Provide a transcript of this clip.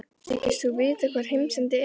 Þykist þú vita hvar heimsendi er?